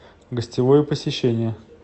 гостевое посещение